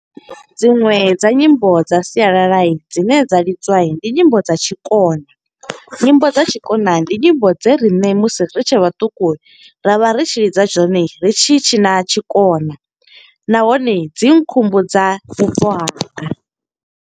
Dziṅwe dza nyimbo dza sialala dzine dza lidzwa. Ndi nyimbo dza tshikona, nyimbo dza tshikona ndi nyimbo dze riṋe musi ri tshe vhaṱuku, ra vha ri tshi lidza dzone, ri tshi tshina tshikona. Nahone, dzi khumbudza vhubvo hanga.